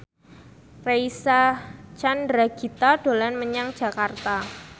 Reysa Chandragitta dolan menyang Jakarta